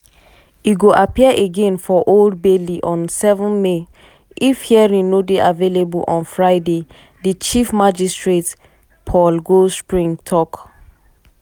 e go appear again for old bailey on 7 may if hearing no dey available on friday di chief magistrate paul goldspring tok.